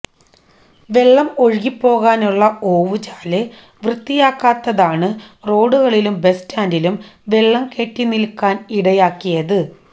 വെള്ളം ഒഴുകിപ്പോകാനുള്ള ഓവുചാല് വൃത്തിയാക്കാത്തതാണ് റോഡുകളിലും ബസ്സ്റ്റാന്റിലും വെള്ളം കെട്ടി നില്ക്കാന് ഇടയാക്കിയത്